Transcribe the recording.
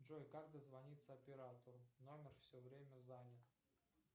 джой как дозвониться оператору номер все время занят